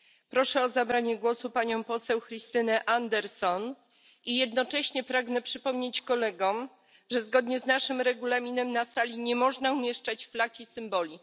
Proszę o zabranie głosu panią Christinę Anderson i jednocześnie pragnę przypomnieć kolegom, że zgodnie z naszym Regulaminem na sali nie można umieszczać flag i symboli.